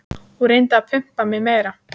Hún reyndi að pumpa mig meira.